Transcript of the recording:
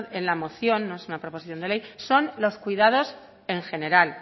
en la moción no es una proposición de ley son los cuidados en general